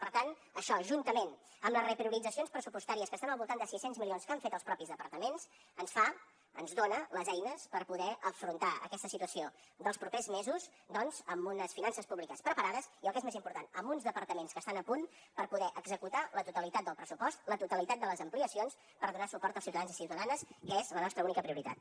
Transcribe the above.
per tant això juntament amb les reprioritzacions pressupostàries que estan al voltant de sis cents milions que han fet els mateixos departaments ens fa ens dona les eines per poder afrontar aquesta situació dels propers mesos doncs amb unes finances públiques preparades i el que és més important amb uns departaments que estan a punt per poder executar la totalitat del pressupost la totalitat de les ampliacions per donar suport als ciutadans i ciutadanes que és la nostra única prioritat